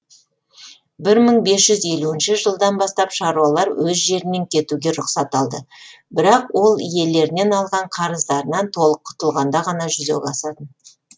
бір мың бес жүз елуінші жылдан бастап шаруалар өз жерінен кетуге рұқсат алды бірақ ол иелерінен алған қарыздарынан толық құтылғанда ғана жүзеге асатын